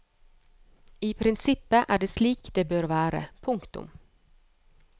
I prinsippet er det slik det bør være. punktum